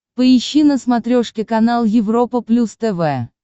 поищи на смотрешке канал европа плюс тв